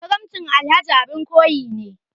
Karamcin Alhaji abin koyi ne.